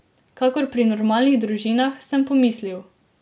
Kakor pri normalnih družinah, sem pomislil.